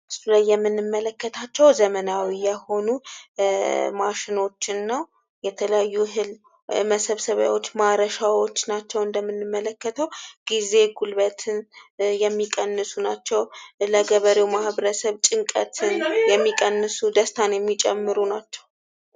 ምስሉ ላይ የምንመለከታቸው ዘመናዊ የሆኑ ማሽኖችኝ ነው የተለያዩ እህል መሰብሰቢያዎች ማረሻዎች ናቸው እንደምንመለከተው ጊዜ ጉልበትን የሚቀንሱ ናቸው ለገበሬው ማኅበረሰብ ጭንቀትን የሚቀንሱ ደስታን የሚጨምሩ ናቸው ።